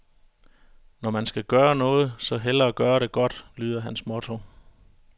Når man skal gøre noget, så hellere gøre det godt, lyder hans motto.